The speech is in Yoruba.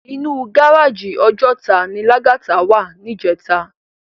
Inú gáráji Òjòtá ni Lagata wá nijètá